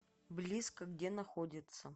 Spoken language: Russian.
близко где находится